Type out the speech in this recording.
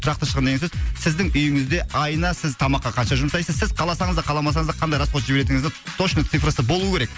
тұрақты шығын деген сөз сіздің үйіңізде айына сіз тамаққа қанша жұмсайсыз сіз қаласаңыз да қаламасаңыз да қандай расход жіберетініңіздің точно цифрасы болу керек